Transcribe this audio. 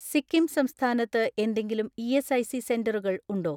സിക്കിം സംസ്ഥാനത്ത് എന്തെങ്കിലും ഇ.എസ്.ഐ.സി സെന്ററുകൾ ഉണ്ടോ?